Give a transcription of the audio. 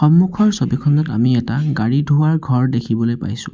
সন্মুখৰ ছবিখনত আমি এটা গাড়ী ধোৱাৰ ঘৰ দেখিবলৈ পাইছোঁ।